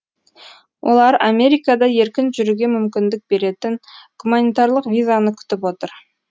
олар америкада еркін жүруге мүмкіндік беретін гуманитарлық визаны күтіп отыр